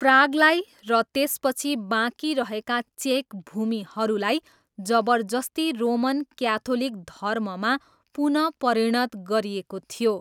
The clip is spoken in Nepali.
प्रागलाई र त्यसपछि बाँकी रहेका चेक भूमिहरूलाई जबरजस्ती रोमन क्याथोलिक धर्ममा पुनः परिणत गरिएको थियो।